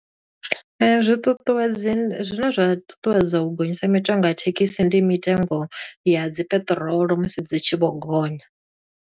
Zwi ṱuṱuwedzi zwine zwa ṱuṱuwedza u gonyisa mitengo ya thekhisi, ndi mitengo ya dzi peṱirolo musi dzi tshi vho gonya.